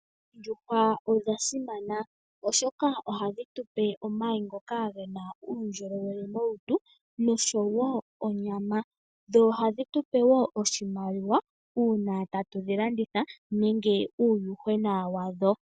Ondjuhwa odha simana oshoka ohadhi tupe omayi ngoka gena uundjolowele molutu, nosho wo onyama. Dho ohadhi tupe wo oshimaliwa uuna tatu dhi landitha nenge uuyuhwena wadho.